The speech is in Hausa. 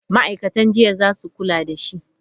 Ma'aikatan jinya za su kula da shi.